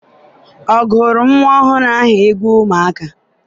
ọ gụụrụ nwa ọhụrụ ahụ egwu ụmụaka?